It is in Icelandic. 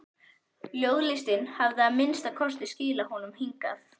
Ljóðlistin hafði að minnsta kosti skilað honum hingað.